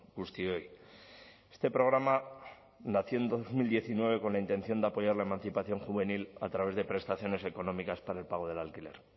guztioi este programa nació en dos mil diecinueve con la intención de apoyar la emancipación juvenil a través de prestaciones económicas para el pago del alquiler